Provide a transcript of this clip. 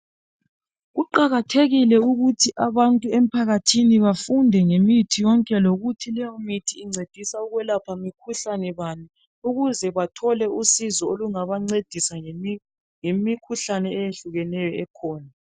Kuqakathekile ukuthi abantu emphakathini bafunde ngemithi yonke lokuthi leyo mithi incedisa ukwelapha mikhuhlane bani ukuze bathole usizo olungabancedisa ngemikhuhlane eyehlukeneyo ekhona.